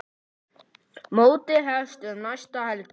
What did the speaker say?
Mótið hefst um næstu helgi.